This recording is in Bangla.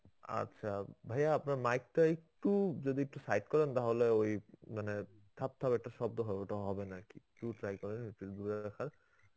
আচ্ছা ভাইয়া আপনার mic টা একটু যদি একটু side করেন তাহলে ওই মানে থাপ থাপ একটা শব্দ হবে ওটা হবে না আর কি try করেন একটু দূরে রাখার